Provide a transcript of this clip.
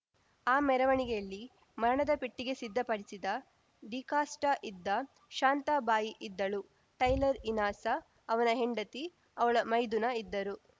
ಆ ಮೆರವಣಿಗೆಯಲ್ಲಿ ಮರಣದ ಪೆಟ್ಟಿಗೆ ಸಿಧ್ದ ಪಡಿಸಿದ ಡಿಕಾಷ್ಟಇದ್ದ ಶಾಂತಾ ಬಾಯಿ ಇದ್ದಳು ಟೈಲರ್‌ ಇನಾಸ ಅವನ ಹೆಂಡತಿ ಅವಳ ಮೈದುನ ಇದ್ದರು